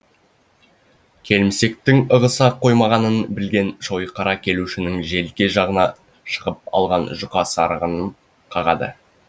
келімсектің ығыса қоймағанын білген шойқара келушінің желке жағына шығып алған жұқа сарыға ым қағады